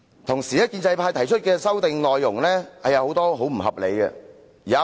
同時，建制派提出的修訂內容很多也十分不合理。